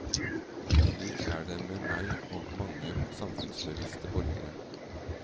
Slik er det med meg og mange samfunnsbevisste borgere.